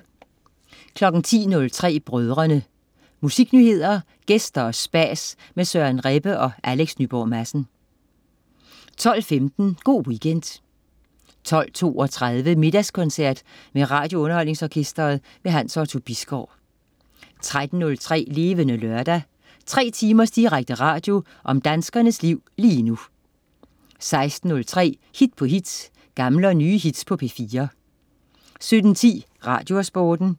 10.03 Brødrene. Musiknyheder, gæster og spas med Søren Rebbe og Alex Nyborg Madsen 12.15 Go' Weekend 12.32 Middagskoncert med RadioUnderholdningsOrkestret. Hans Otto Bisgaard 13.03 Levende Lørdag. Tre timers direkte radio om danskernes liv lige nu 16.03 Hit på hit. Gamle og nye hits på P4 17.10 Radiosporten